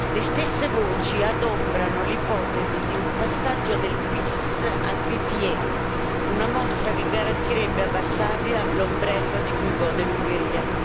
Le stesse voci adombrano l'ipotesi di un passaggio del PiS al PPE, una mossa che garantirebbe a Varsavia l'ombrello di cui gode l'Ungheria.